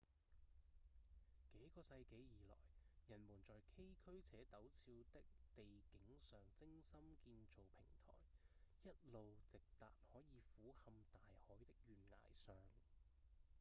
幾個世紀以來人們在崎嶇且陡峭的地景上精心建造平臺一路直達可以俯瞰大海的懸崖上